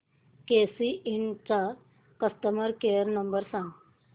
केसी इंड चा customer care number सांग